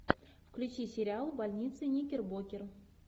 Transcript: включи сериал больница никербокер